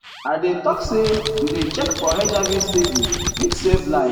i dey talk say to dey check for hiv steady fit save life.